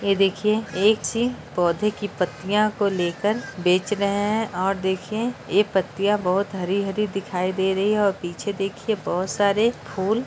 ये देखिऐ एक ची पौधे की पत्तियां को लेकर बेच रहे है और देखिऐ ये पत्तिया बहोत हरी-हरी दिखाई दे रही हेऔर पीछे देखिए बहुत सारे फुल --